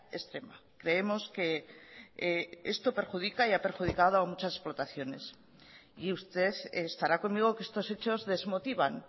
extrema creemos que esto perjudica y ha perjudicado a muchas explotaciones y usted estará conmigo que estos hechos desmotivan